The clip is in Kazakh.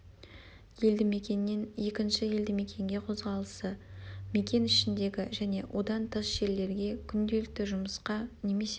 елді мекеннен екінші елді мекенге қозғалысы мекен ішіндегі және одан тыс жерлерге күнделікті жұмысқа немесе